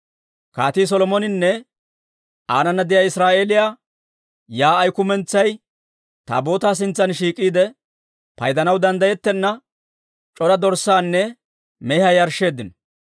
Kaatii Solomoninne aanana de'iyaa Israa'eeliyaa yaa'ay kumentsay Taabootaa sintsan shiik'iide, paydanaw danddayettenna c'ora dorssaanne mehiyaa yarshsheeddino.